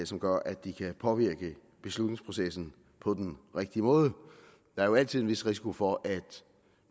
som gør at de kan påvirke beslutningsprocessen på den rigtige måde der er jo altid en vis risiko for at